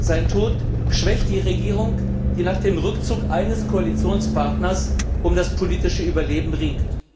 Sein Tod schwächt die Regierung, die nach dem Rückzug eines Koalitionspartners um das politische Überleben ringt.